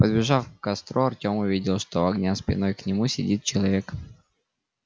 подбежав к костру артем увидел что у огня спиной к нему сидит человек